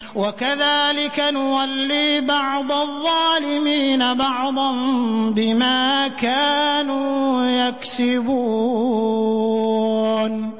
وَكَذَٰلِكَ نُوَلِّي بَعْضَ الظَّالِمِينَ بَعْضًا بِمَا كَانُوا يَكْسِبُونَ